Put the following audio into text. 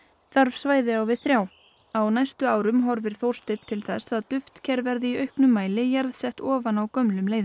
þarf svæði á við þrjá á næstu árum horfir Þórsteinn til þess að duftker verði í auknum mæli jarðsett ofan á gömlum leiðum